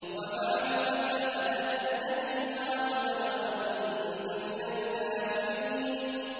وَفَعَلْتَ فَعْلَتَكَ الَّتِي فَعَلْتَ وَأَنتَ مِنَ الْكَافِرِينَ